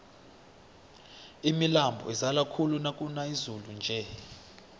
imilambo izala khulu nakuna izulu nje